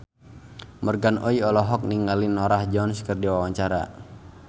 Morgan Oey olohok ningali Norah Jones keur diwawancara